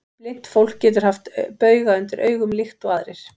Blint fólk getur haft bauga undir augum líkt og aðrir.